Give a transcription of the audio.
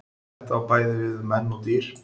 Þetta á bæði við um menn og dýr.